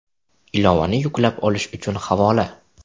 Ilovani yuklab olish uchun havola: .